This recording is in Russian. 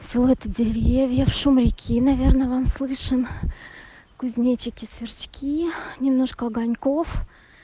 силуэты деревьев шум реки наверное вам слышен кузнечики сверчки немножко огоньков